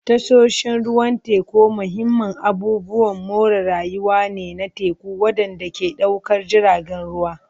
Tashoshin ruwan teku mahimman abubuwan more rayuwa ne na teku waɗanda ke ɗaukar jiragen ruwa.